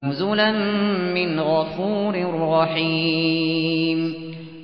نُزُلًا مِّنْ غَفُورٍ رَّحِيمٍ